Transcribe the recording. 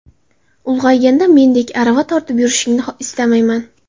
Ulg‘ayganda mendek arava tortib yurishini istamayman.